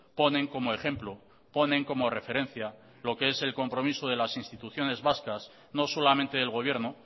ponen como ejemplo ponen como referencia lo que es el compromiso de las instituciones vascas no solamente del gobierno